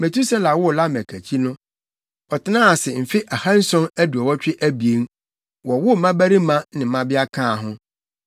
Metusela woo Lamek akyi no, ɔtenaa ase mfe ahanson aduɔwɔtwe abien, wowoo mmabarima ne mmabea kaa ho.